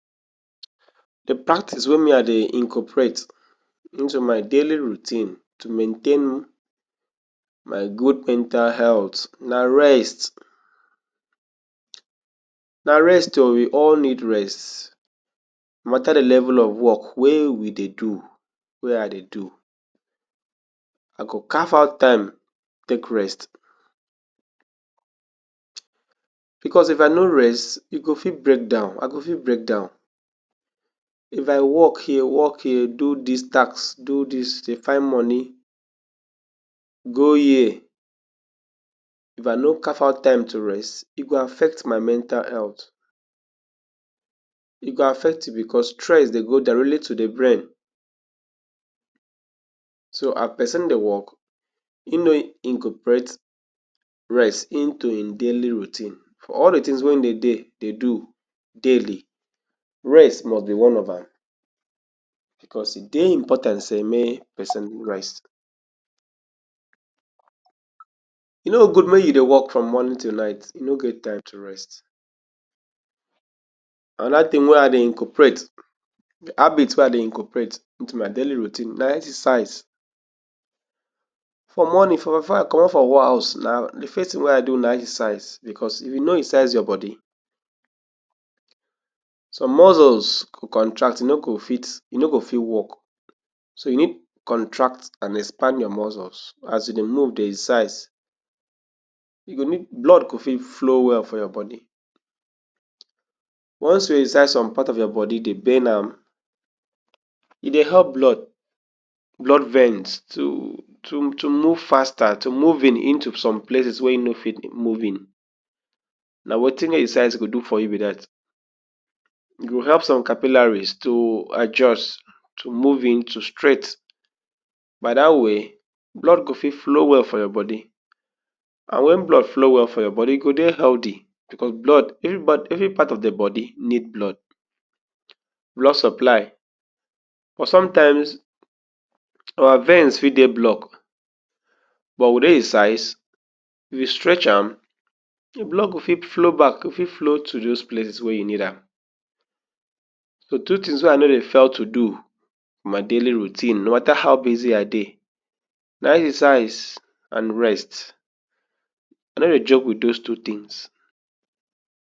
Di practice wey me I dey incorporate intu my daily routine tu maintain my good mental health na rest. Na rest o, we all need rest. matter di level of wok wey we dey do, wey I dey do, I go carve out time take rest bicos if I no rest, e go fit break down. I go fit break down if I wok here, wok here, do dis task, do dis, dey find moni, go here. If I no carf out time to rest, e go affect my mental health. E go affect bicos stress dey go direly tu di brain. So a pesin dey wok, im no incorporate rest intu in daily routine for all di tins wey in dey dey do daily, rest mos be one of am bicos e dey important say make pesin rest. E no gud mey you dey wok from morning ti night, you no get time to rest. Anoda tin wey I dey incorporate, habit wey I dey incorporate intu my daily routine, na exercise. For morning for for I comot for house, na di first tin wey I do na exercise. Bicos if you no exercise your body, some muscles go contract, you no go fit you no go fit wok. So you need contract and expand your muscles as you dey move, dey exercise. yo go need blood go fit flow well for your body. once you exercise, som part of your body dey bend am, e dey help blood, blood veins tu tu move faster, tu move into some places wey e no fit move in. Na wetin exercise go do for you be dat. E go help some capillaries to adjust, to move intu straight. By dat way, blood go fit flow well for your body. And wen blood flow well for your body, e go dey healthy bicos blood, evri part evri part of di body need blood, blood supply. But sometimes our veins fit dey block. But wit exercise, if you stretch am, blood go fit flow back, fi flow to dose places wey you need am. So two tins wey I no dey fail to do my daily routine, no matter how busy I dey, na exercise, and rest. I no dey joke wit dose two tins.